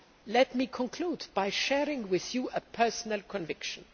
Let me conclude by sharing with you a personal conviction.